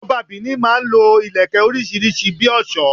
Ọba Benin máa n lo Ìlẹ̀kẹ̀ orísírìsí bi òsó